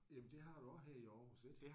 Jamen det har du også her i Aarhus ik?